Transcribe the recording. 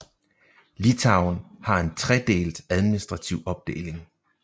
Litauen har en tredelt administrative opdeling